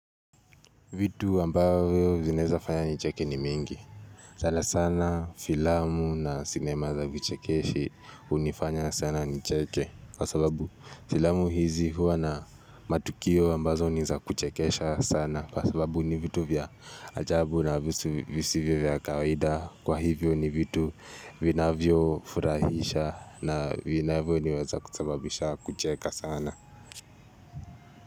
Vitu ambayo vinaweza fanya nicheke ni mingi. Sala sana filamu na sinema za vichekeshi hunifanya sana nicheke. Kwa sababu filamu hizi huwa na matukio ambazo ni za kuchekesha sana. Kwa sababu ni vitu vya ajabu na visivyo vya kawaida. Kwa hivyo ni vitu vinavyofurahisha na vinavyoniweza kusababisha kucheka sana.